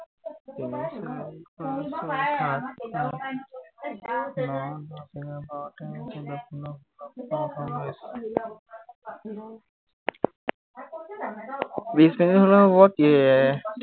তিনি চাৰি পাঁচ ছয় সাত আঠ ন দহ এঘাৰ বাৰ তেৰ ছৌধ্য় পোন্ধৰ ষোল্ল, সোতৰ, ওঠৰ উনৈশ বিশ মিনিট হলেও হব এৰ